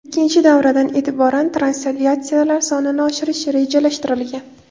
Ikkinchi davradan e’tiboran translyatsiyalar sonini oshirish rejalashtirilgan.